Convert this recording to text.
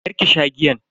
karki sha giyan.